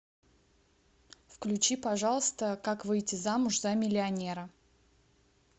включи пожалуйста как выйти замуж за миллионера